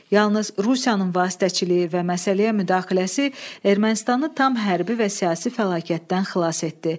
Yalnız Rusiyanın vasitəçiliyi və məsələyə müdaxiləsi Ermənistanı tam hərbi və siyasi fəlakətdən xilas etdi.